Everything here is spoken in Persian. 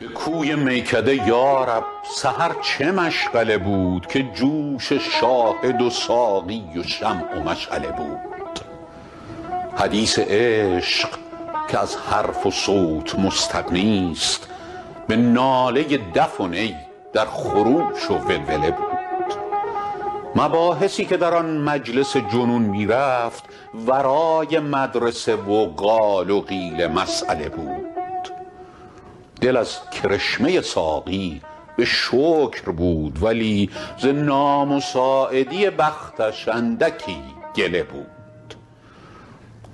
به کوی میکده یا رب سحر چه مشغله بود که جوش شاهد و ساقی و شمع و مشعله بود حدیث عشق که از حرف و صوت مستغنیست به ناله دف و نی در خروش و ولوله بود مباحثی که در آن مجلس جنون می رفت ورای مدرسه و قال و قیل مسأله بود دل از کرشمه ساقی به شکر بود ولی ز نامساعدی بختش اندکی گله بود